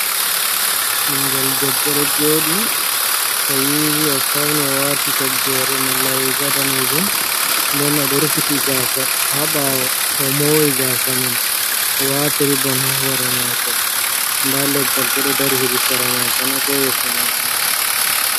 Ɓingel debbo ɗo jooɗi o yiwi, o fauni o waati toggore, malla riga daneejum, nden o ɗo rufiti gasa ha ɓaawo. O mori gasa man, o wati ribon ha hore mako. Nda leggal bo ɗo dari hedi sera mako na, ko yeso mako na.